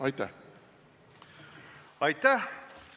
Aitäh!